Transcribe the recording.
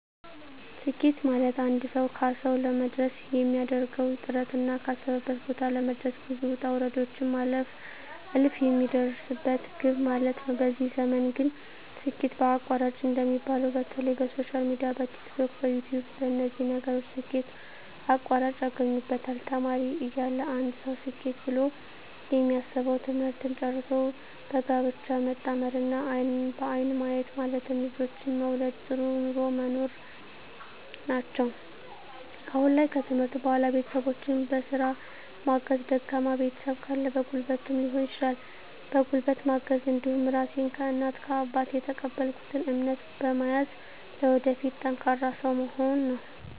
ስኬት ማለትአንድ ሰዉ ካሰዉ ለመድረስ የሚያደርገዉ ጥረትና ካሰበበት ቦታ ለመድረስ ብዙ ዉጣ ዉረዶችን ማለፍ አልፍ የሚደርስበት ግብ ማለት ነዉ በዚህ ዘመን ግን ስኬት በአቋራጭ እንደሚባለዉ በተለይ በሶሻል ሚድያ በቲክቶክ በዩትዩብ በነዚህ ነገሮች ስኬት በአቋራጭ ያገኙበታል ተማሪ እያለ አንድ ሰዉ ስኬት ብሎ የሚያስበዉ ትምህርትን ጨርሶ በጋብቻ መጣመርና አይንን በአይን ማየት ማለትም ልጆችን መዉለድ ጥሩ ኑሮ መኖር ናቸዉ አሁን ላይ ከትምህርት በኋላ ቤተሰቦቸን በስራ ማገዝ ደካማ ቤተሰብ ካለ በጉልበትም ሊሆን ይችላል በጉልበት ማገዝ እንዲሁም ራሴን ከእናት ከአባት የተቀበልኩትን እምነት በመያዝ ለወደፊት ጠንካራ ሰዉ መሆን ነዉ